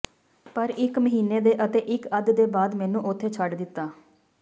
ਪਰ ਇੱਕ ਮਹੀਨੇ ਦੇ ਅਤੇ ਇੱਕ ਅੱਧ ਦੇ ਬਾਅਦ ਮੈਨੂੰ ਉੱਥੇ ਛੱਡ ਦਿੱਤਾ